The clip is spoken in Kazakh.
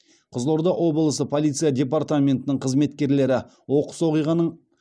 қызылорда облысы полиция департаментінің қызметкерлері оқыс оқиғаның